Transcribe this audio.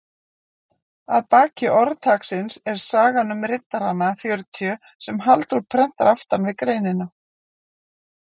Að baki orðtaksins er sagan um riddarana fjörutíu sem Halldór prentar aftan við greinina.